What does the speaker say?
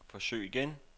forsøg igen